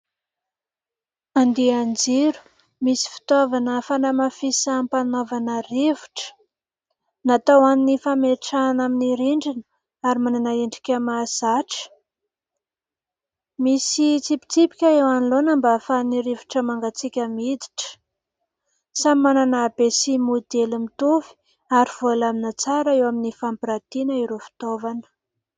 Andian-jiro misy fitaovana fanamafisam-panaovana rivotra natao an'ny fametrahana amin'ny rindrina ary manana endrika mahazatra, misy tsipitsipika eo anoloana mba hahafahan'ny rivotra mangatsiaka miditra. Samy manana habe sy modely mitovy ary voalamina tsara eo amin'ny fampirantiana ireo fitaovana.